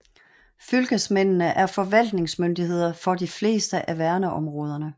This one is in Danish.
Fylkesmændene er forvaltningsmyndighed for de fleste af verneområdene